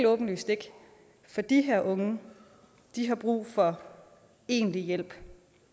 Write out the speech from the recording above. åbenlyst ikke for de her unge de har brug for egentlig hjælp